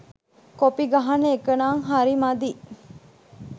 Copy ගහන එකනං හරි මදි.